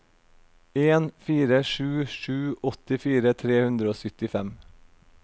en fire sju sju åttifire tre hundre og syttifem